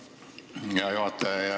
Aitäh, hea juhataja!